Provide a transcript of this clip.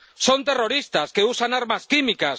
Son terroristas que usan armas químicas